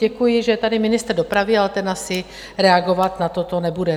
Děkuji, že je tady ministr dopravy, ale ten asi reagovat na toto nebude.